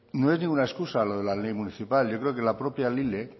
no es ninguna excusa lo de la ley municipal yo creo la propia lile